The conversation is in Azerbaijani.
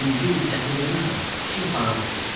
Birinci gün təhvil verməsəm, işim xarabdır.